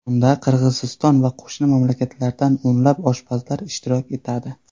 Unda Qirg‘iziston va qo‘shni mamlakatlardan o‘nlab oshpazlar ishtirok etadi.